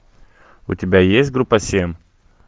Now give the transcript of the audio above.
у тебя есть группа семь